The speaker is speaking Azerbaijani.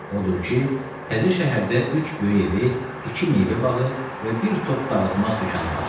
Odur ki, təzə şəhərdə üç böyük evi, iki meyvə bağı və bir top dağıtmaz dükanı var.